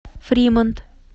фримонт